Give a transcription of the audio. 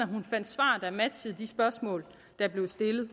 at matchede de spørgsmål der blev stillet